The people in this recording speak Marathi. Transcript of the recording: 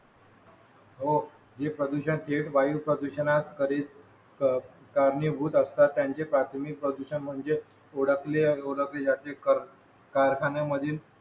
हो जे प्रदूषक हे वायू प्रदूषणात खरेच कारणीभूत असतात त्यांचे प्राथमिक प्रदूषण म्हणजे ओळखली ओळखली जाते कारखान्यामधील